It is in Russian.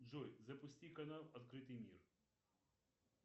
джой запусти канал открытый мир